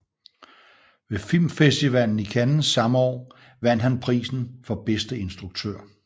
Ved Filmfestivalen i Cannes samme år vandt han prisen for bedste instruktør